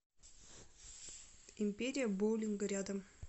империя боулинга рядом